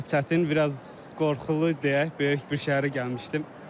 Biraz çətin, biraz qorxulu deyək, böyük bir şəhərə gəlmişdim.